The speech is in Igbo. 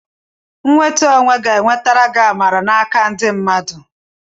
Nwetu onwe ga-enwetara gị amara n'aka ndị mmadụ.